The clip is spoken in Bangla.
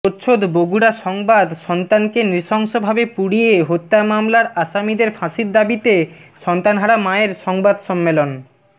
প্রচ্ছদ বগুড়া সংবাদ সন্তানকে নৃসংশভাবে পুড়িয়ে হত্যা মামলার আসামীদের ফাঁসির দাবীতে সন্তানহারা মায়ের সংবাদ সম্মেলন